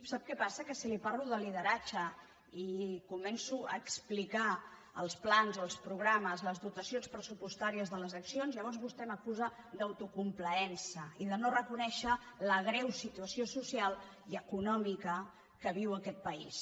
sap què passa que si li parlo de lideratge i començo a explicar els plans els progra·mes les dotacions pressupostàries de les accions lla·vors vostè m’acusa d’autocomplaença i de no reconèi·xer la greu situació social i econòmica que viu aquest país